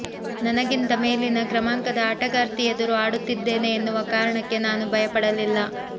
ನನಗಿಂತ ಮೇಲಿನ ಕ್ರಮಾಂಕದ ಆಟಗಾರ್ತಿ ಎದುರು ಆಡುತ್ತಿದ್ದೇನೆ ಎನ್ನುವ ಕಾರಣಕ್ಕೆ ನಾನು ಭಯ ಪಡಲಿಲ್ಲ